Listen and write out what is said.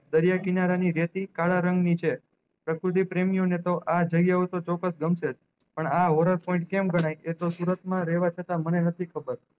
દરિયા કિનારા ની રેતી કાળા રંગ ની છે પ્રેમિયો ને તો આ જયી આવ તો ચોકાસ ગમશે પણ આ વરસ point કેમ ગણાય એ તો સુરત માં રેહતા છતાં મને નથી ખબર